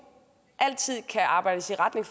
altid kan arbejdes i retning